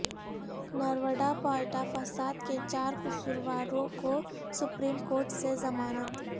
نرودا پاٹیا فسادکے چار قصورواروں کو سپریم کورٹ سے ضمانت